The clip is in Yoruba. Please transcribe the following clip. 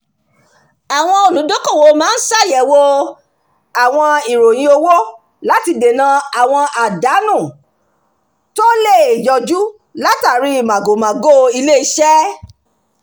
àwọn olùdókòwò máa ń ṣàyẹ̀wò àwọn ìròyìn owó láti dènà àwọn àdánù tó le yọjú látàrí màgòmágó ilé-iṣẹ́